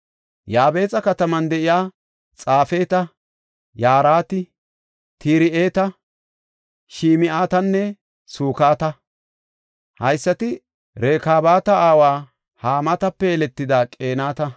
Yaabexa kataman de7iya xaafeta yarati Tir7eta, Shim7atanne Sukata. Haysati Rekaabata aawa Hamaatape yeletida Qeenata.